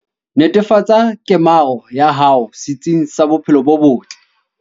Netefatsa kemaro ya hao setsing sa bophelo bo botle.